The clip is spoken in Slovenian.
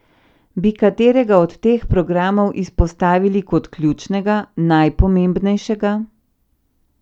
Bi katerega od teh programov izpostavili kot ključnega, najpomembnejšega?